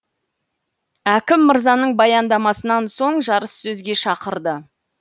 әкім мырзаның баяндамасынан соң жарыссөзге шақырды